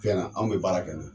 Fɛn na anw be baara kɛ n'o ye.